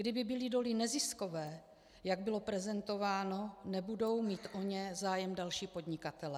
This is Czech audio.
Kdyby byly doly neziskové, jak bylo prezentováno, nebudou mít o ně zájem další podnikatelé.